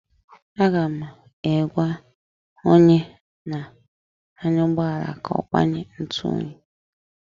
Aga m egwa onye na anya ụgbọala ka ọ gbanye ntụ oyi